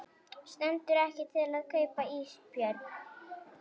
Stendur ekki til að kaupa ísbjörn